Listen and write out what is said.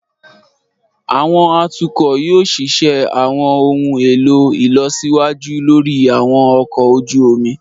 Àwọn atukọ yoo ṣiṣẹ àwọn ohun elo ilọsiwaju lori àwọn ọkọ oju omi.